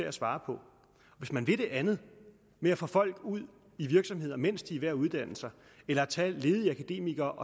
at svare på hvis man vil det andet med at få folk ud i virksomheder mens de er ved at uddanne sig eller tage ledige akademikere